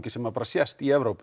sem sést í Evrópu